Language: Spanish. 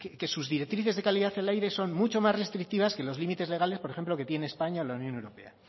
que sus directrices de calidad del aire son mucho más restrictivas que los límites legales por ejemplo que tiene españa o la unión europea